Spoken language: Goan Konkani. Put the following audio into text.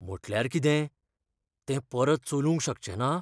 म्हुटल्यार कितें? तें परत चलूंक शकचेंना?